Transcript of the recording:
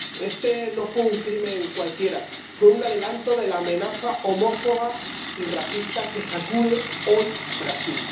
Este no fue un crimen cualquiera, fue un adelanto de la amenaza homófoba y racista que sacude hoy Brasil.